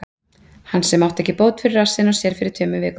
Hann sem átti ekki bót fyrir rassinn á sér fyrir tveimur vikum?